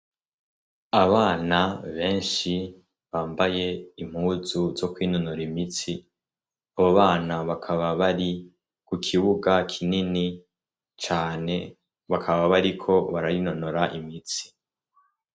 Abana benshi bambaye impuzu zo kwinonora imitsi abo bana bakaba bari ku kibuga kinini cane bakaba bariko bararinonora imitsi.